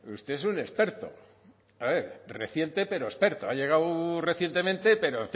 usted es un experto a ver reciente pero experto ha llegado recientemente pero